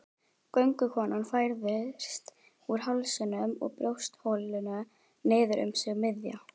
Göngukonan færðist úr hálsinum og brjóstholinu niður um sig miðja.